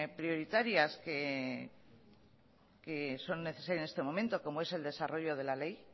prioritarias que son necesarias en este momento como es el desarrollo de la ley